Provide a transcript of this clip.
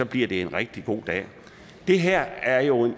bliver det en rigtig god dag det her er jo